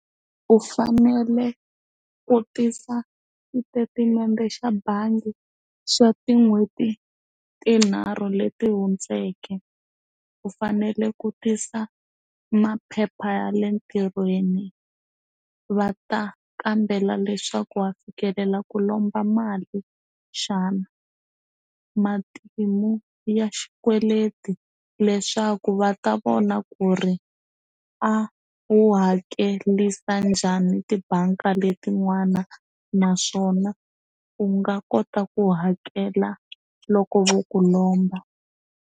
U fanele ku tisa xitetimende xa bangi xa tin'hweti tinharhu leti hundzeke u fanele ku tisa maphepha ya le ntirhweni va ta kambela leswaku wa fikelela ku lomba mali xana matimu ya xikweleti leswaku va ta vona ku ri i a wu hakelisa njhani tibange letin'wana naswona u nga kota ku hakela loko vo ku lomba.